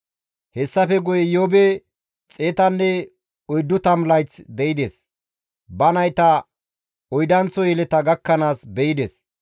Hessafe guye Iyoobi 140 de7ides. Ba nayta oydanththo yeleta gakkanaas be7ides.